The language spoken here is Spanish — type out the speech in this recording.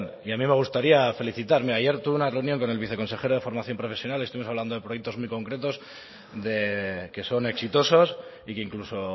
y a mí me gustaría felicitar ayer tuve una reunión con el viceconsejero de formación profesional estuvimos hablando de proyectos muy concretos que son exitosos y que incluso